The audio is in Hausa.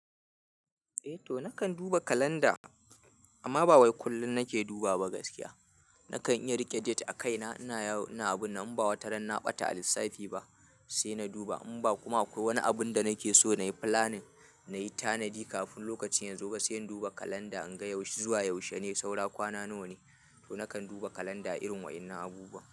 Eh to nakan duba kalanda amma bawai kullum nake dubawa ba gaskiya nakan iya rike date a kaina, ina abu na in ba wata ran na ɓata a lissafi ba sai na duba. In ba kuma akwai wani abun da nake so nayi planning nayi tanadi kafin lokacin ya zo ba sai in duba kalanda in ga zuwa yaushe ne, saura kwana nawa ne to nakan duba kalanda irin waɗannan abubuwa.